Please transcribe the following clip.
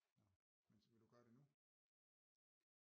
Nåh men vil du gøre det nu?